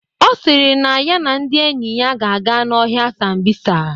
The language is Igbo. Ọ si na ya na ndị enyi ya ga-aga n'ọhịa Sambisa.